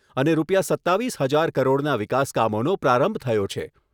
અને રૂપિયા સત્તાવીસ હજાર કરોડના વિકાસ કામોનો પ્રારંભ થયો છે.